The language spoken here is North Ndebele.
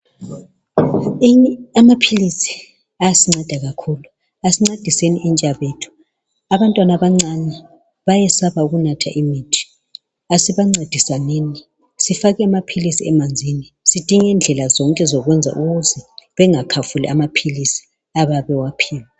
amaphilizi ayasinceda kakhulu asincediseni intsha yethu abantwana abancane bayasaba ukunatha imithi asibancedisenini sifake amaphilizi emanzini sidinge indlela zonke zokuyenza ukuze bengakhafuli amaphilizi abeyebe bewaphiwe